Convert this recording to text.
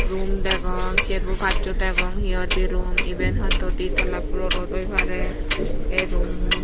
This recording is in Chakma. rum degong serbo passo degong hi hoide rum eben hoito di tala polorot oi pare ey rummun.